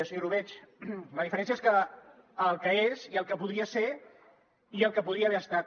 senyor orobitg la diferència és que el que és i el que podria ser i el que podria haver estat